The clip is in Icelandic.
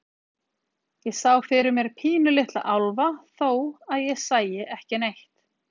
Ég sá fyrir mér pínulitla álfa, þó að ég sæi ekki neitt.